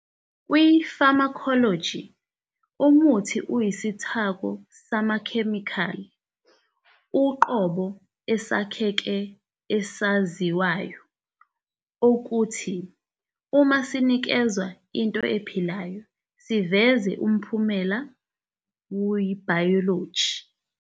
Kwi-pharmacology, umuthi uyisithako samakhemikhali, uqobo esakheke esaziwayo, okuthi, uma sinikezwa into ephilayo, siveze umphumela webhayoloji.